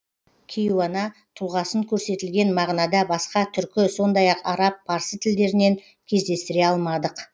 кейуана тұлғасын көрсетілген мағынада басқа түркі сондай ақ араб парсы тілдерінен кездестіре алмадық